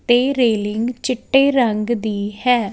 ਤੇ ਰੇਲਿੰਗ ਚਿੱਟੇ ਰੰਗ ਦੀ ਹੈ।